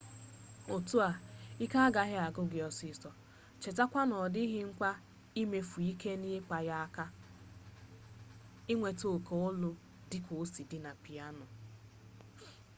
otu a ike agaghị agwụ gị ọsịsọ chetakwa na ọ dịghị mkpa imefu ike n'ịkpa ya aka ka inweta oke olu dịka osi dị na piano